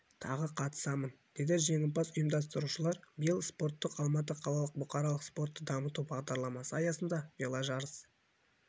тағы қатысамын деді жеңімпаз ұйымдастырушылар биыл спорттық алматы қалалық бұқаралық спортты дамыту бағдарламасы аясында веложарыс